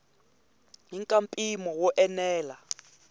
i ka mpimo wo enela